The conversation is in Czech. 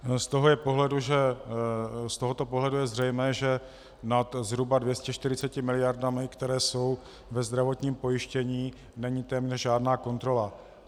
Z tohoto pohledu je zřejmé, že nad zhruba 240 miliardami, které jsou ve zdravotním pojištění, není téměř žádná kontrola.